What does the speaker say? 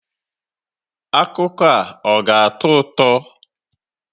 Akụkọ a ọ ga-atọ ụtọ?